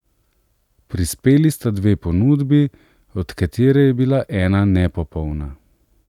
Prispeli sta dve ponudbi, od katere je bila ena nepopolna.